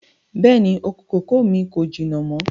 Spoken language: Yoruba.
Bẹ́ẹ̀ni, oko kòkó mi kò jìnà mọ́